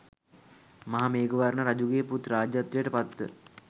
මහාමේඝවර්ණ රජුගේ පුත් රාජ්‍යත්වයට පත්ව